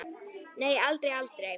Nei, aldrei, aldrei, aldrei!